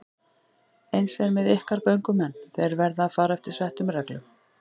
Eins er með ykkar göngumenn, þeir verða að fara eftir settum reglum.